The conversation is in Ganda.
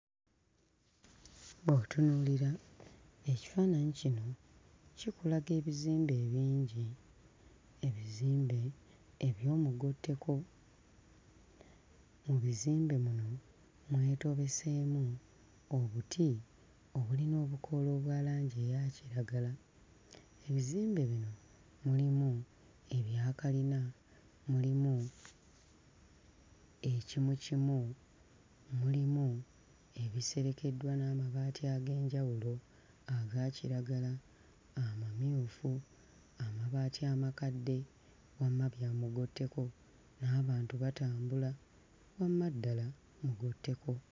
Bw'otunuulira ekifaananyi kino kikulaga ebizimbe ebingi, ebizimbe eby'omugotteko, mu bizimbe muno mwetobeseemu obuti, obulina obukoola obwa langi eya kiragala, ebizimbe bino mulimu ebya kkalina, mulimu ekimukimu, mulimu ebiserekeddwa n'amabaati ag'enjawulo aga kiragala amamyufu, amabaati amakadde, wamma ddala mugotteko, n'abantu batambula wamma ddala mugotteko!